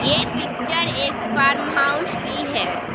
ये पिक्चर एक farm house की है।